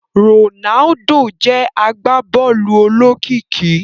Ronaldo jé agbabóòlù olókìkí